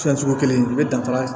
Fɛn sugu kelen i be danfara